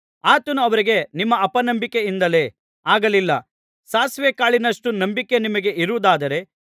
ಆತನು ಅವರಿಗೆ ನಿಮ್ಮ ಅಪನಂಬಿಕೆಯಿಂದಲೇ ಆಗಲಿಲ್ಲ ಸಾಸಿವೇ ಕಾಳಿನಷ್ಟು ನಂಬಿಕೆ ನಿಮಗೆ ಇರುವುದಾದರೆ